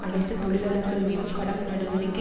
அனைத்து தொழிலாளர்கள் மீதும் கடம் நடவடிக்கை